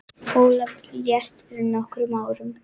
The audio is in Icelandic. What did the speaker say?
Ólafur lést fyrir nokkrum árum.